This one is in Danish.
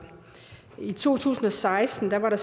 i to tusind og seksten var